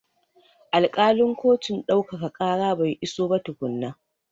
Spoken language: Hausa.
Alkalin kotun ɗaukaka ƙara bai iso ba tukunna.